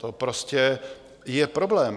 To prostě je problém.